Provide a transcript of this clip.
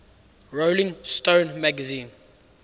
rolling stone magazine